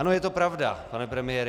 Ano, je to pravda, pane premiére.